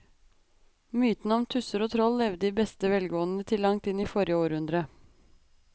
Mytene om tusser og troll levde i beste velgående til langt inn i forrige århundre.